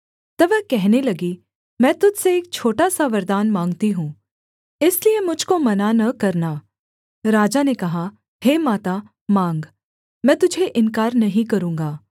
तब वह कहने लगी मैं तुझ से एक छोटा सा वरदान माँगती हूँ इसलिए मुझ को मना न करना राजा ने कहा हे माता माँग मैं तुझे इन्कार नहीं करूँगा